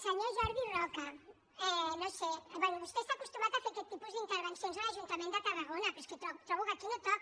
senyor jordi roca no ho sé bé vostè està acostumat a fer aquest tipus d’intervencions a l’ajuntament de tarragona però és que trobo que aquí no toca